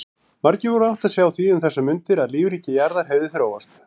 Margir voru að átta sig á því um þessar mundir að lífríki jarðar hefði þróast.